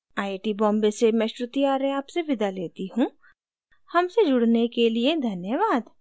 I I T Bombay से मैं श्रुति आर्य आपसे विदा लेती हूँ हमसे जुड़ने के लिए धन्यवाद